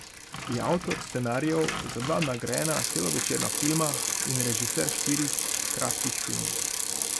Je avtor scenarijev za dva nagrajena celovečerna filma in režiser štirih kratkih filmov.